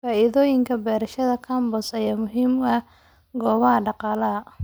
Faa'iidooyinka beerashada compost ayaa muhiim u ah kobaca dhaqaalaha.